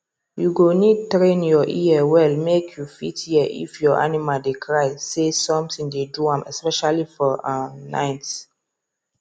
you go need train your ear well make you fit hear if your animal dey cry say something dey do am especially for um night